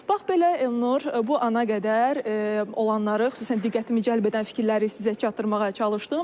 Bax belə, Elnur, bu ana qədər olanları, xüsusən diqqətimi cəlb edən fikirləri sizə çatdırmağa çalışdım.